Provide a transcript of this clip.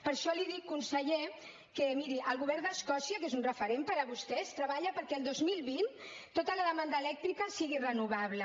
per això li dic conseller que miri el govern d’escòcia que és un referent per a vostès treballa perquè el dos mil vint tota la demanda elèctrica sigui renovable